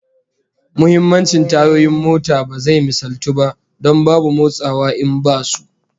Muhimmancin tayoyin mota ba zai misaltu ba, don babu motsawa in basu